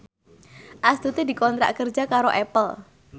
Astuti dikontrak kerja karo Apple